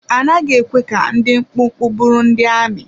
A naghị ekwe ka ndị dị mkpụmkpụ bụrụ ndị amị.